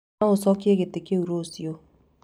No ũcokiĩ gĩtĩ kĩu rũciũ